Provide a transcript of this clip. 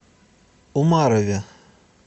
умарове